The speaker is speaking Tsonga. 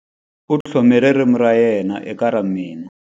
U tlhome ririmi ra yena eka mina.